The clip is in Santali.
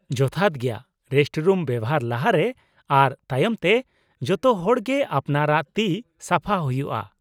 ᱡᱚᱛᱷᱟᱛ ᱜᱮᱭᱟ ᱾ ᱨᱮᱥᱴᱨᱩᱢ ᱵᱮᱣᱦᱟᱨ ᱞᱟᱦᱟ ᱨᱮ ᱟᱨ ᱛᱟᱭᱚᱢ ᱛᱮ, ᱡᱚᱛᱚ ᱦᱚᱲ ᱜᱮ ᱟᱯᱱᱟᱨᱟᱜ ᱛᱤ ᱥᱟᱯᱷᱟ ᱦᱩᱭᱩᱜᱼᱟ ᱾